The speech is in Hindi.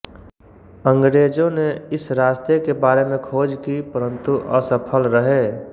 अंग्रेजों ने इस रास्ते के बारे में खोज की परंतु असफल रहे